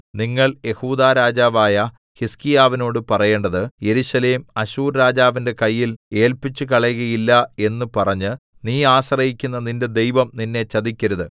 നിങ്ങൾ യെഹൂദാ രാജാവായ ഹിസ്കീയാവിനോട് പറയേണ്ടത് യെരൂശലേം അശ്ശൂർരാജാവിന്റെ കയ്യിൽ ഏല്പിച്ചുകളകയില്ല എന്ന് പറഞ്ഞ് നീ ആശ്രയിക്കുന്ന നിന്റെ ദൈവം നിന്നെ ചതിക്കരുത്